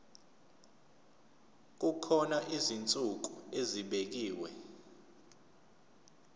kukhona izinsuku ezibekiwe